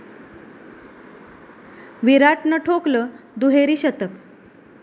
विराटनं ठोकलं दुहेरी शतक